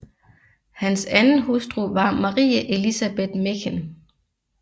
Hans anden hustru var Marie Elisabeth Mechen